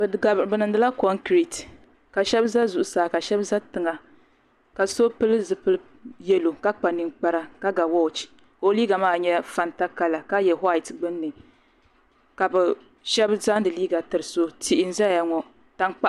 Bɛ niŋdila konkireti ka sheba za zuɣusaa ka sheba za tiŋa ka so pili zipil'yelo ka kpa ninkpara ka ga woochi ka o liiga maa nyɛ fanta kala ka ye waati gbinni ka sheba zaŋdi liiga tiri so yihi n zaya ŋɔ tankpaɣu.